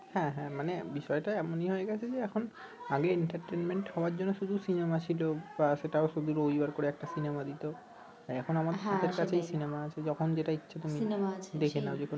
হ্যাঁ হ্যাঁ মানে বিষয়টা এমনই হয়ে গেছে যে এখন আগে হওয়ার জন্য শুধু সিনেমা ছিল বা সেটাও শুধু রবিবার করে একটা সিনেমা দিত এখন আমাদের সিনেমা আছে যখন যেটা ইচ্ছে তুমি দেখে নাও